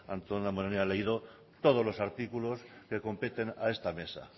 antón damborenea ha leído todos los artículos que competen a esta mesa